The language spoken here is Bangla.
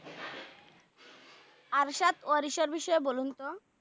আবসাত অরিসের বিষয়ে বলুন তো